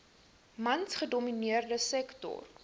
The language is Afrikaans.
mans gedomineerde sektor